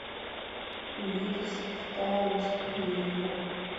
витас в китае выступление